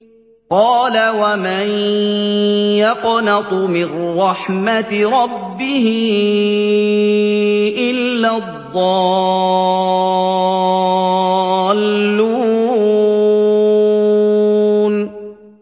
قَالَ وَمَن يَقْنَطُ مِن رَّحْمَةِ رَبِّهِ إِلَّا الضَّالُّونَ